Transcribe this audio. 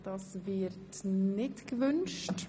– Dieses wird nicht gewünscht.